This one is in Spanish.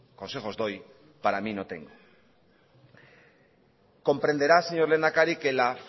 consejos doy para mí no tengo comprenderá señor lehendakari que la